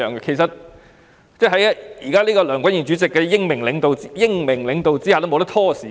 其實，現時在梁君彥主席的英明領導下，議員已不可以拖延時間。